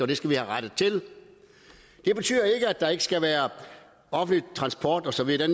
det skal vi have rettet til det betyder ikke at der ikke skal være offentlig transport og så videre